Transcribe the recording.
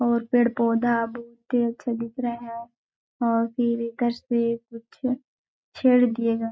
और पेड़-पौधा बहुत ही अच्छे दिख रहे है। और छेड़ दिए गए।